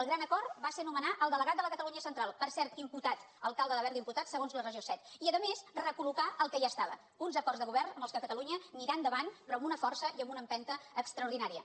el gran acord va ser nomenar el delegat de la catalunya central per cert imputat alcalde de berga imputat segons regió set i a més recol·locar el que hi estava uns acords de govern amb què catalunya anirà endavant però amb una força i amb una empenta extraordinària